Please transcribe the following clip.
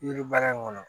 Yiri baara in kɔnɔ